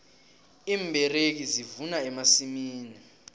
iimberegi zivuna emasimini